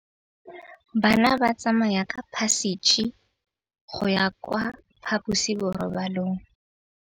Bana ba tsamaya ka phašitshe go ya kwa phaposiborobalong.